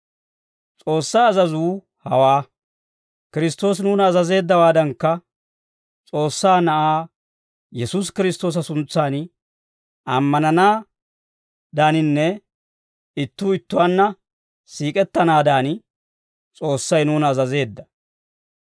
S'oossaa azazuu hawaa: Kiristtoosi nuuna azazeeddawaadankka, S'oossaa Na'aa Yesuusi Kiristtoosa suntsan nuuni ammananaadaaninne ittuu ittuwaanna siik'ettanaadan S'oossay nuuna azazeedda.